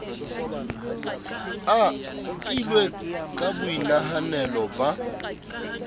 a nkilwe ka boinahanelo ba